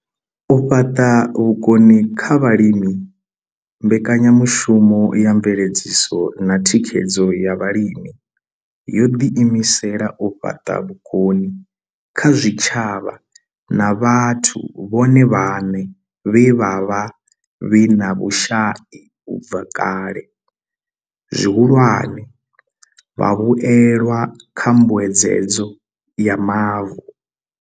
U fhaṱa vhukoni kha vhalimi mbekanyamushumo ya mveledziso na thikhedzo ya vhalimi yo ḓi imisela u fhaṱa vhukoni kha zwitshavha na vhathu vhone vhaṋe vhe vha vha vhe na vhushai u bva kale, zwihulwane, vhavhuelwa kha mbuedzedzo ya mavu.